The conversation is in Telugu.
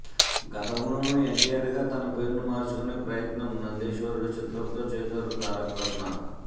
గతంలోనూ ఎన్టీఆర్ గా తన పేరుని మార్చుకునే ప్రయత్నం నందీశ్వరుడు చిత్రంతో చేసారు తారకరత్న